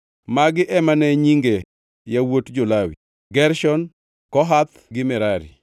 Magi ema ne nyinge yawuot jo-Lawi: Gershon, Kohath gi Merari.